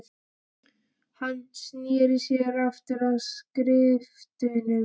Hann sneri sér aftur að skriftunum.